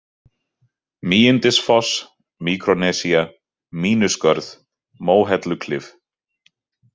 Mígindisfoss, Míkrónesía, Mínuskörð, Móhelluklif